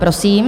Prosím.